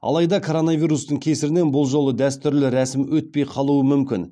алайда коронавирустың кесірінен бұл жолы дәстүрлі рәсім өтпей қалуы мүмкін